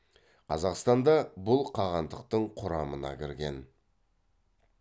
қазақстан да бұл қағандықтың құрамына кірген